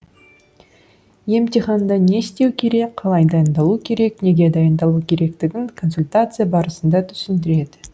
емтиханда не істеу керек қалай дайындалу керек неге дайындалу керектігін консультация барысында түсіндіреді